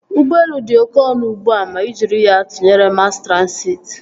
Ụgbọelu dị oké ọnụ ugbua ma ị jiri ya tụnyere mas transịti